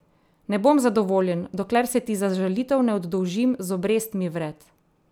Ne bom zadovoljen, dokler se ti za žalitev ne oddolžim z obrestmi vred.